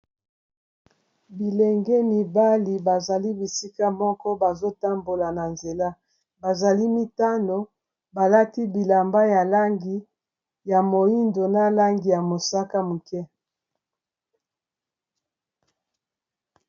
bilenge mibali bazali bisika moko bazotambola na nzela bazali mitano balati bilamba ya langi ya moindo na langi ya mosaka muke